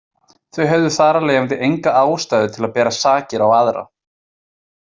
Þau höfðu þar af leiðandi enga ástæðu til að bera sakir á aðra.